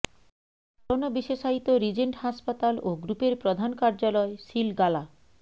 corona বিশেষায়িত Regent হাসপাতাল ও গ্রুপের প্রধান কার্যালয় সিলগালা